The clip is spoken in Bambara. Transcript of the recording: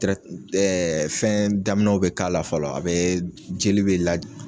tirɛti ɛ fɛn daminɛw be k'a la fɔlɔ a be jeli be la